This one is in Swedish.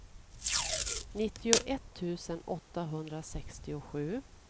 nittioett tusen åttahundrasextiosju